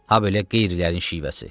Ha belə qeyrilərin şivəsi.